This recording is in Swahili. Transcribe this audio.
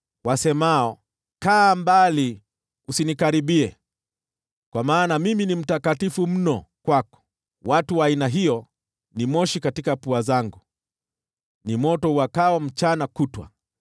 wasemao, ‘Kaa mbali; usinikaribie, kwa maana mimi ni mtakatifu mno kwako!’ Watu wa aina hiyo ni moshi katika pua zangu, ni moto uwakao mchana kutwa.